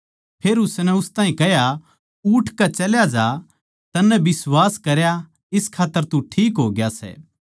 फेर उसनै उस ताहीं कह्या उठकै चल्या जा तन्नै बिश्वास करया इस खात्तर तू ठीक होग्या सै